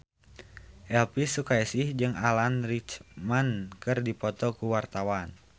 Elvy Sukaesih jeung Alan Rickman keur dipoto ku wartawan